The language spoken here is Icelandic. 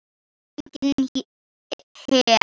Enginn her.